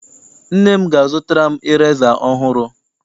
Nne m ga- azụtara m ireza ọhụrụ.